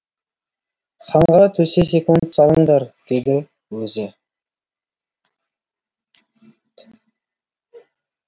ханға төсек салыңдар деді өзі